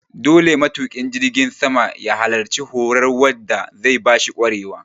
Dole matuƙin jirgin sama ya halarci horar wa da zai bashi ƙwarewa